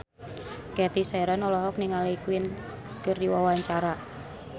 Cathy Sharon olohok ningali Queen keur diwawancara